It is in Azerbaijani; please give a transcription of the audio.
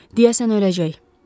Deyəsən öləcək.